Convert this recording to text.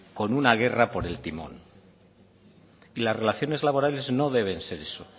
por una guerra por el timón y las relaciones laborales no deben ser eso